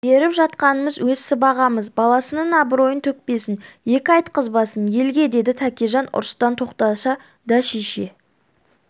беріп жатқанымыз өз сыбағамыз баласының абыройын төкпесін екі айтқызбасын елге деді тәкежан ұрыстан тоқтаса да шеше